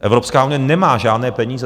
Evropská unie nemá žádné peníze.